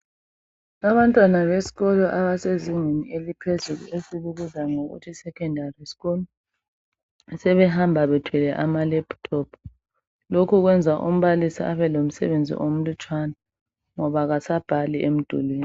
Abantwana abasezingeni eliphezulu esikubiza sithi yisecondary sikulu ,sebehamba bethwele amalephuthophu lokhu kwenza umbalisi abelomsebenzi omlutshwana ngoba kasabhali emdulwini.